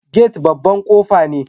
Gati' babban kofa ne.